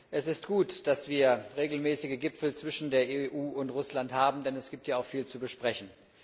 Es ist gut, dass wir regelmäßig Gipfel zwischen der EU und Russland haben, denn es gibt ja auch viel zu besprechen.